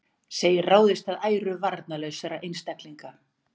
Segir ráðist að æru varnarlausra einstaklinga